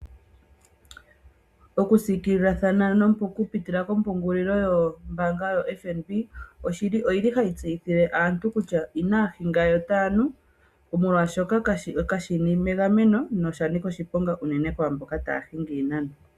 Okusikililathana okupitila kopungulilo yombanga yo FNB oyili hayi tseyithile aantu kutya inahinga yo otanu molwashoka kashili mengameno noshanika oshiponga unene kwamboka tahingi iinano.